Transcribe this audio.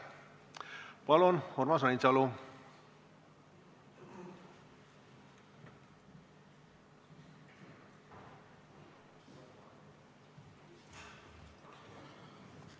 Palun, Urmas Reinsalu!